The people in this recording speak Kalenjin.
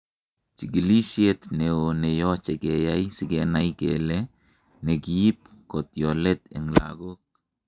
Chikilishet neo neyoche keyai sikenai kele nekiib kotyolet eng lagok